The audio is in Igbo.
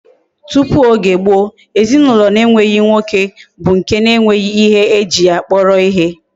Tupu Oge gboo, ezinaulo na enweghi nwoke bu nke na enweghi ihe eji ya kporo ihe